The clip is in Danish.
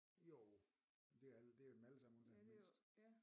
Jo men det alle det er jo dem alle sammen undtagen den mindste